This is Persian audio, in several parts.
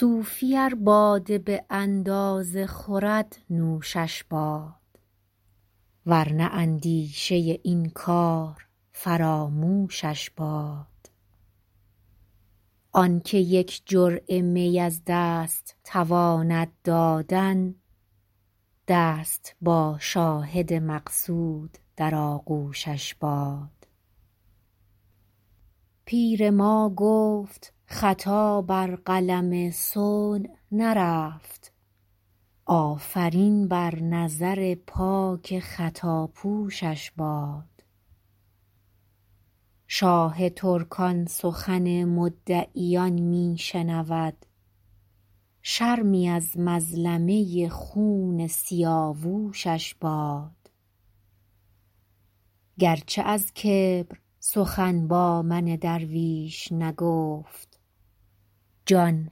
صوفی ار باده به اندازه خورد نوشش باد ور نه اندیشه این کار فراموشش باد آن که یک جرعه می از دست تواند دادن دست با شاهد مقصود در آغوشش باد پیر ما گفت خطا بر قلم صنع نرفت آفرین بر نظر پاک خطاپوشش باد شاه ترکان سخن مدعیان می شنود شرمی از مظلمه خون سیاوشش باد گر چه از کبر سخن با من درویش نگفت جان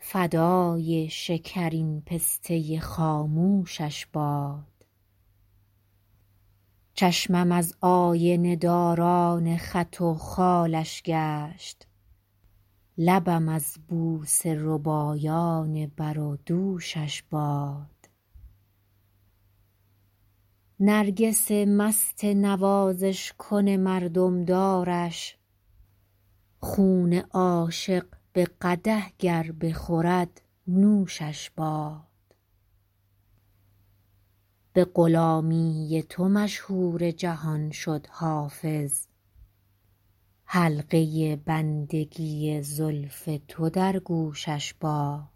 فدای شکرین پسته خاموشش باد چشمم از آینه داران خط و خالش گشت لبم از بوسه ربایان بر و دوشش باد نرگس مست نوازش کن مردم دارش خون عاشق به قدح گر بخورد نوشش باد به غلامی تو مشهور جهان شد حافظ حلقه بندگی زلف تو در گوشش باد